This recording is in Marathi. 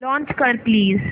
लॉंच कर प्लीज